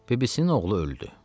Bibisinin oğlu öldü.